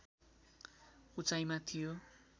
उचाइमा थियो